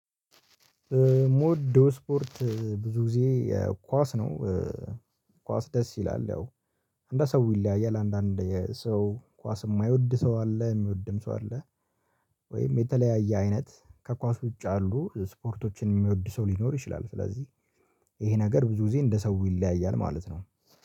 ሞደው ስፖርት ብዙ ግዜ ኳስ ነው። ኳስ ደስ ይላል ያው እንደ ሰው ይለያያል። አንዳንድ ሰው ኳስ እማይወድ ሰው አለ እሚወድም ሰው አለ። ወይም የተለያየ አይነት ከኳስ ውጭ ያሉ ስፖርቶችን ሚወድ ሰው ሊኖር ይችላል። ስለዚህ ይሄ ነገር ብዙ ጊዜ እንደ ሰው ይለያያል ማለት ነው።